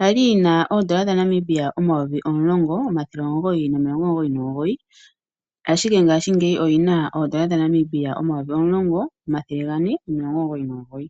Yali yina odollar dhaNamibia omayovi omulongo omathele omugoyi nomilongo omugoyi nomugoyi ashike ngaashi ngeyi oyina omayovi omulongo omathele gane nomilongo omugoyi nomugoyi.